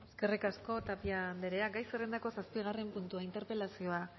eskerrik asko tapia anderea gai zerrendako zazpigarren puntua interpelazioa